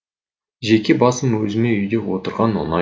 жеке басым өзіме үйде отырған ұнайды